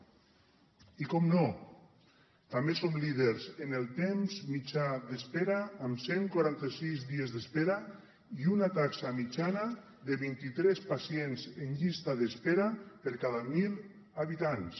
i naturalment també som líders en el temps mitjà d’espera amb cent i quaranta sis dies d’espera i una taxa mitjana de vint i tres pacients en llista d’espera per cada mil habitants